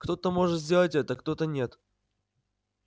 кто-то может сделать это кто-то нет